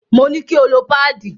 Mo ní kí o lo páàdì.